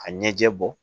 Ka ɲɛjɛ bɔ